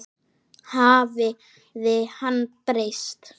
Hafði hann breyst?